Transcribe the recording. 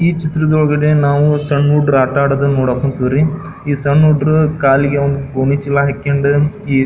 ಈ ಚಿತ್ರದೊಳಗಡೆ ನಾವು ಸಣ್ಣ ಹುಡುಗ್ರು ಆಟ ಆಡೋದನ್ನ ನೋಡಕ್ ಹೊಂತಿವಿ ರೀ ಈ ಸಣ್ಣ ಹುಡುಗ್ರು ಕಾಲಿಗೆ ಗೋಣಿಚೀಲ ಹಾಕ್ಕೊಂಡು ಈ --